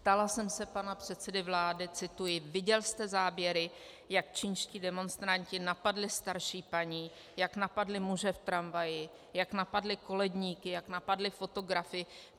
Ptala jsem se pana předsedy vlády - cituji: "Viděl jste záběry, jak čínští demonstranti napadli starší paní, jak napadli muže v tramvaji, jak napadli koledníky, jak napadli fotografy?